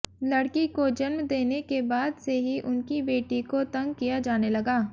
लडकी को जन्म देने के बाद से ही उनकी बेटी को तंग किया जाने लगा